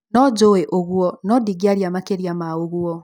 Nonjũĩ ũguo no ndingĩaria makĩria ma ũguo